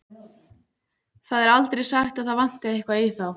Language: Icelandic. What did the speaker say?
Það er aldrei sagt að það vanti eitthvað í þá.